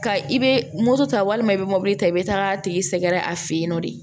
Ka i bɛ moto ta walima i bɛ mobili ta i bɛ taa a tigi sɛgɛrɛ a fɛ yen nɔ de